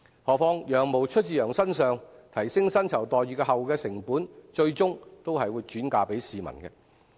何況"羊毛出自羊身上"，提升薪酬待遇後的成本，最終還是會轉嫁市民。